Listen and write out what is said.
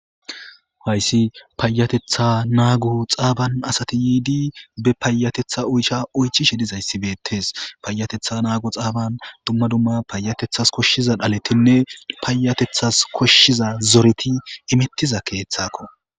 Haysi payateta nago xafan asati yidi be payateta oysha oychishe dizaysi betes payateta nago xafan duma duma payatetas koshiza dhaletine paytethas koshiza zoreti imetiza kethako.